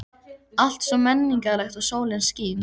Allt svo menningarlegt og sólin skín.